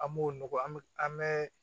An b'o nɔgɔ an bɛ an bɛ